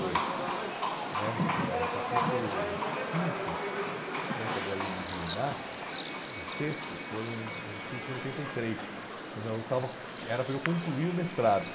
dois né, ãh, o capítulo quinto né, que é a da lei do inquilinato, e o sexto foram escritos em oitenta e três, quando eu estava era para eu concluir o mestrado.